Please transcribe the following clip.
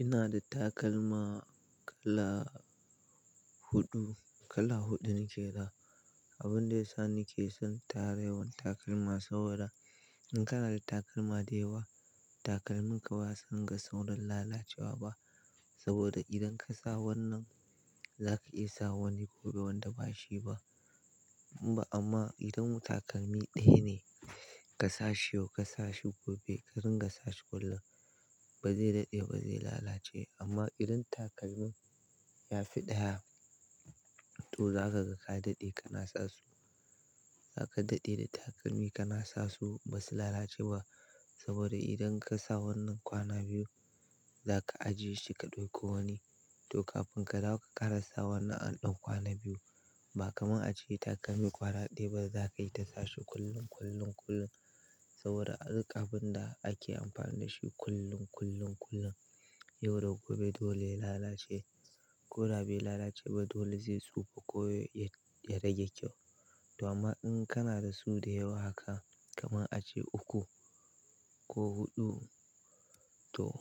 Ina da takalma kala huɗu, kala huɗu nake da. Abun da yasa nake son tara yawan takalma saboda, in kana da takalma da yawa, takalminka ba zasu dinga saurin lalacewa ba. Saboda idan ka sa wannan, zaka iya sa wani gobe wanda bashi ba. Ba amma idan takalmi ɗaya ne ka sa shi yau, ka sa shi gobe, ka ringa sa shi kullum, ba zai daɗe ba zai lalace. Amma idan takalmin ya fi ɗaya, to za ka ga ka daɗe kana sa su. Za ka daɗe da takalmi ka na sasu ba su lalacewa. Saboda idan ka sa wannan kwana biyu, za ka ajiye shi ka ɗauko wani. To kafin ka dawo ka ƙara sa wannan an ɗan kwana biyu. Ba kamar a ce takalmi kwana ɗaya ba za kai ta sashi kullum, kullum, kullum. Saboda ai abin da ake amfani da shi kullum, kullum, kullum, yau da gobe dole lalace. Ko da be lalace ba dole zai tsufa ko ya rage kyau. To amma in kana da su da yawa haka kamar a ce uku ko huɗu, to